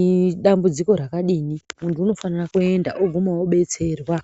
idambudziko rakadini muntu anofana kuenda oguma odetserwa.